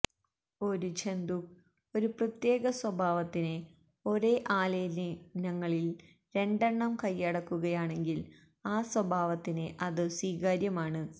ഒരു ജന്തുക്ക് ഒരു പ്രത്യേക സ്വഭാവത്തിന് ഒരേ ആലെലിനങ്ങളിൽ രണ്ടെണ്ണം കൈയടക്കുകയാണെങ്കിൽ ആ സ്വഭാവത്തിന് അത് സ്വീകാര്യമാണ്